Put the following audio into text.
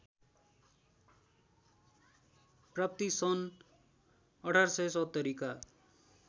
प्राप्ति सन् १८७० का